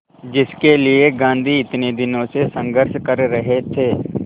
जिसके लिए गांधी इतने दिनों से संघर्ष कर रहे थे